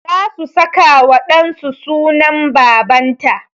Za su saka wa ɗan su sunan baban ta